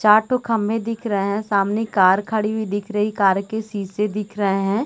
चार ठो खंबे दिख रहे हैं सामने कार खड़ी हुई दिख रही है कार के शीशे दिख रहे हैं।